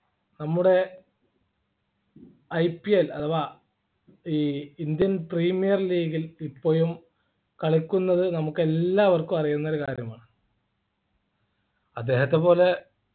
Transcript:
നമ്മുടെ IPL അഥവാ ഈ Indian Premier League ൽ ഇപ്പോഴും കളിക്കുന്നത് നമുക്കെല്ലാവർക്കും അറിയുന്ന ഒരു കാര്യമാണ് അദ്ദേഹത്തെപ്പോലെ